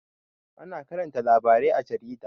Ana karanta labarai a jarida